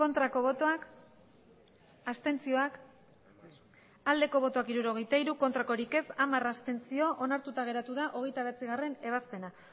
aurkako botoak abstentzioa hirurogeita hiru bai hamar abstentzio onartuta geratu da hogeita bederatzigarrena ebazpena